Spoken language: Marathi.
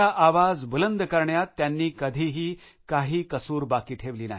आपला आवाज बुलंद करण्यात त्यांनी कधीही काही कसूर बाकी ठेवली नाही